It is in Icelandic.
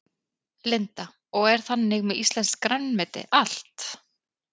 Linda: Og er þannig með íslenskt grænmeti allt?